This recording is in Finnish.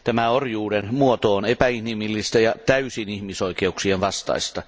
Tämä orjuuden muoto on epäinhimillistä ja täysin ihmisoikeuksien vastaista.